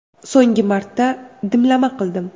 So‘nggi marta dimlama qildim.